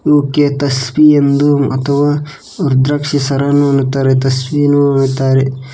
ಇದು ಕೆ ದಸ್ವಿ ಎಂದು ಅಥವ ರುದ್ರಾಕ್ಷಿ ಸರವನ್ನು ಅನ್ನುತಾರೆ ದಸ್ವಿ ಅನ್ನುತಾರೆ.